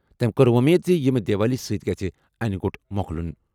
تٔمۍ کوٚر وۄمید زِ ییٚمہِ دیوالی سۭتۍ گژھِ انہِ گوٚٹ مۄکلُن۔